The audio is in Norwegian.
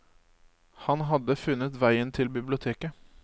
Han hadde funnet veien til biblioteket.